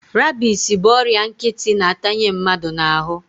Rabis bụ ọrịa nkịtị na-atanye mmadụ n'ahụ.